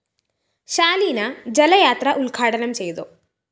ശാലീന ജലയാത്ര ഉദ്ഘാടനം ചെയ്തു